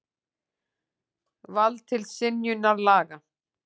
Vald til synjunar laga.